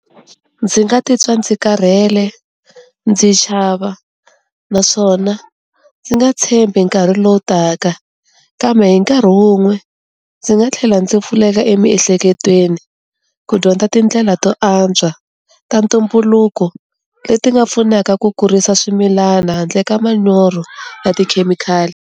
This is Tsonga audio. Ndzi nga titwa ndzi karhele ndzi chava, naswona ndzi nga tshembi nkarhi lowu taka kambe hi nkarhi wun'we ndzi nga tlhela ndzi pfuleka emiehleketweni ku dyondza tindlela to antswa ta ntumbuluko leti nga pfunaka ku kurisa swimilana handle ka manyoro ya tikhemikhali.